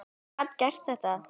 Ég gat gert þetta.